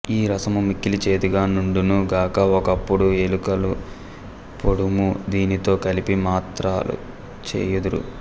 ఈ రసము మిక్కిలి చేదుగా నుండును గాన ఒక్కొక్కప్పుడు ఏలకుల పొడుము దీనితో కలిపి మాత్రలు చేయుదురు